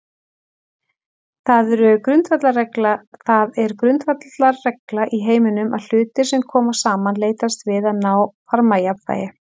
Það er grundvallarregla í heiminum að hlutir sem koma saman leitast við að ná varmajafnvægi.